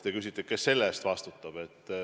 Te küsite, kes selle eest vastutab.